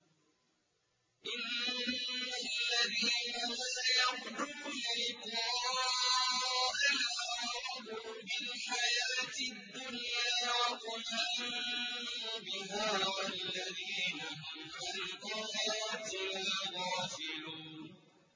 إِنَّ الَّذِينَ لَا يَرْجُونَ لِقَاءَنَا وَرَضُوا بِالْحَيَاةِ الدُّنْيَا وَاطْمَأَنُّوا بِهَا وَالَّذِينَ هُمْ عَنْ آيَاتِنَا غَافِلُونَ